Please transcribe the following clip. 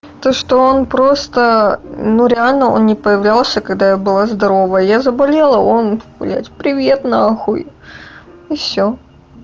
то что он просто ну реально он не появлялся когда я была здорова я заболела он блять привет нахуй и всё